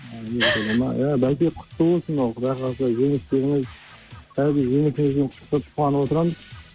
америкада ма иә бәке құтты болсын ал құдай қаласа жеңістеріңіз әрбір жеңісіңізбен құттықтап қуанып отырамыз